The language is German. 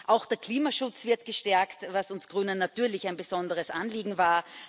Auch der Klimaschutz wird gestärkt, was uns Grünen natürlich ein besonderes Anliegen war